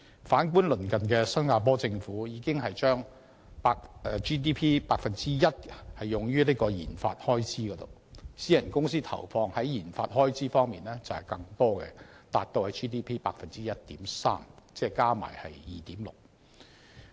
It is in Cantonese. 反觀鄰近的新加坡政府已將 GDP 的 1% 用於研發開支，而私人公司投放的研發開支則更多，達 GDP 的 1.3%， 合共為 2.3%。